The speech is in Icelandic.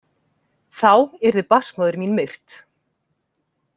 þá yrði barnsmóðir mín myrt.